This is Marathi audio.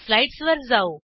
स्लाईडसवर जाऊ